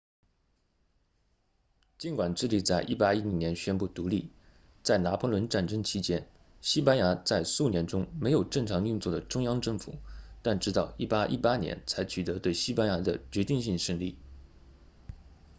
尽管智利在1810年宣布独立在拿破仑战争期间西班牙在数年中没有正常运作的中央政府但直到1818年才取得对西班牙的决定性胜利